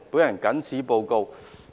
我謹此報告。